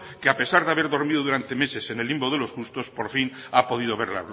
que a pesar de haber dormido durante meses en el limbo de los justos por fin ha podido ver